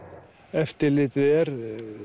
eftirlitið er